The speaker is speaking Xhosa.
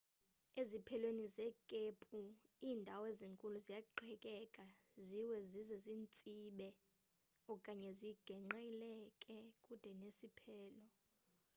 eziphelweni zekhephu iindawo ezinkulu ziyaqhekeka ziwe zize zitsibe okanye ziqengqelelkele kude nesiphelo